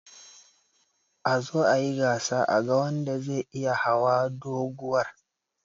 Azo ayi gasa a ga wanda zai iya hau doguwar.